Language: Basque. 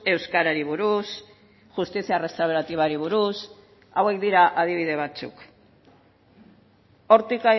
euskarari buruz justizia restauratibari buruz hauek dira adibide batzuk hortik